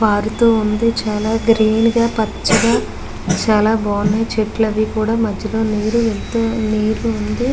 park వుంది చాల green గ పచగా చాల బగుని చెట్లు అవి ఇవి కూడా లేట్ వుంది--